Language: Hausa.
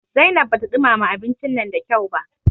Zainab bata ɗumama abincin nan da kyau ba.